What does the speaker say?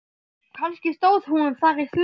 Kannski stóð hún þar í þvögunni.